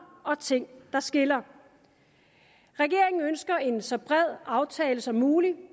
og ting der skiller regeringen ønsker en så bred aftale som muligt